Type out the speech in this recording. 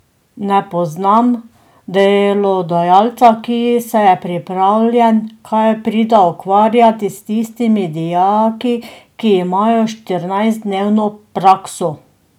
Ne poznam delodajalca, ki se je pripravljen kaj prida ukvarjati s tistimi dijaki, ki imajo štirinajstdnevno prakso.